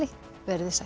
veriði sæl